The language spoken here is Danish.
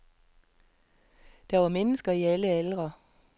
Der var mennesker i alle aldre.